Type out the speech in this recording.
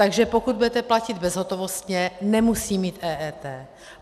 Takže pokud budete platit bezhotovostně, nemusí mít EET.